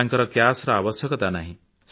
ତାଙ୍କର କ୍ୟାଶ ର ଆବଶ୍ୟକତା ନାହିଁ